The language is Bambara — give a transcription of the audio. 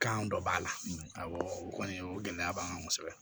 Kan dɔ b'a la awɔ o kɔni o gɛlɛya b'an kan kosɛbɛ